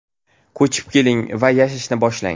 Ko‘chib keling va yashashni boshlang!